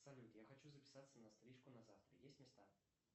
салют я хочу записаться на стрижку на завтра есть места